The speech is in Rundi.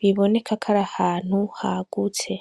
biboneka kw'arahantu hagutse.